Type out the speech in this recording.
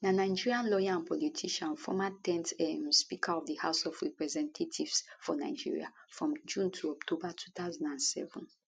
na nigerian lawyer and politician former 10th um speaker of di house of representatives for nigeria from june to october 2007